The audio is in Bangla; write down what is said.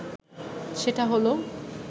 সেটা হলো